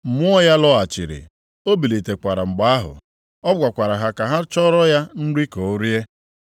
Mmụọ ya lọghachiri, o bilitekwara mgbe ahụ. Ọ gwakwara ha ka ha chọọrọ ya nri ka o rie.